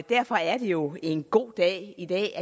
derfor er det jo en god dag i dag